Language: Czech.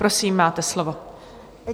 Prosím, máte slovo.